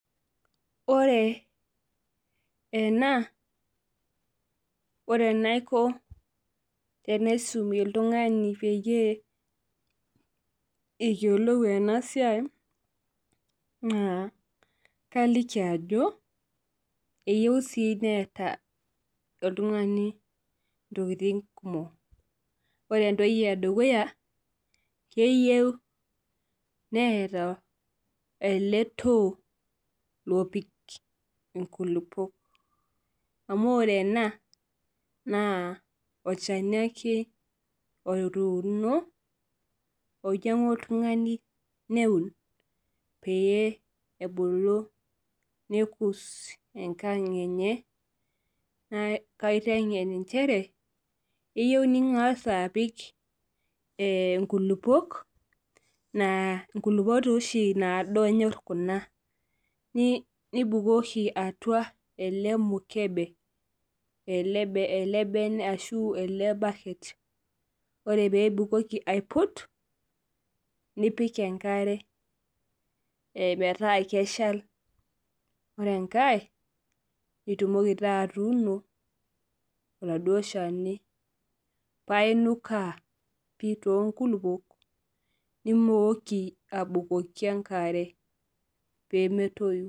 Ore ena ore enaikoni tenaisum oltungani peyie eyiolou ena siai naa keliki ajo eyieu sii nees oltungani ntokiting kumok, ore ene dukuya keyieu neeta ele too lopiki nkulupuok. Amu ore ena naa olchani ake otuuno ,oinyangua oltungani neun pee ebulu nelus enkang enye. Kaitengen nchere keyieu ningas apik nkulupuok naa kulupuok naado ashu enyor kuna ,nibukoki atua ele mukebe. Ore pee ibukoki aiput nipik enkare metaa keshal ,ore enkae nitumoki atuuno oladuo shani paa inukaa pi toonkulupuok nimook abukoki enkare pee metoyu.